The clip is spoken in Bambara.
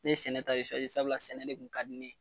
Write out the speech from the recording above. Ne sɛnɛ ta de sabula sɛnɛ de tun ka di ne ye